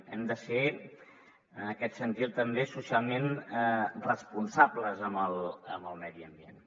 hem de ser en aquest sentit també socialment responsables amb el medi ambient